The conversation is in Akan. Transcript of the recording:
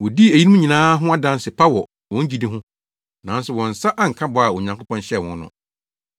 Wodii eyinom nyinaa ho adanse pa wɔ wɔn gyidi ho, nanso wɔn nsa anka bɔ a Onyankopɔn hyɛɛ wɔn no,